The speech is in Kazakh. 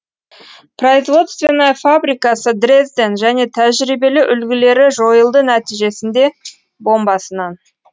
производственная фабрикасы дрезден және тәжірибелі үлгілері жойылды нәтижесінде бомбасынан